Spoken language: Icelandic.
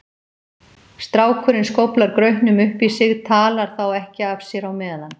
Strákurinn skóflar grautnum upp í sig, talar þá ekki af sér á meðan.